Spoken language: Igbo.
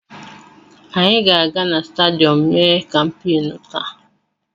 Anyị ga-aga na stadiyọm mee kampeenụ́ taa.